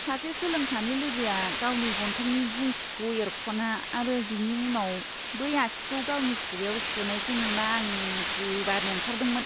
सासे सोलोंसानि लोगोआ गावनि गन्थंनि गुंखिखौ एरख'ना आरो बिनि उनाव बै आसिखौ गावनि खुगायाव सोनायखौ नुना, आं गोबानो ओंखारदोंमोन!